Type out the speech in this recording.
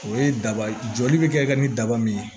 O ye daba ye joli bɛ kɛ ka ni daba min ye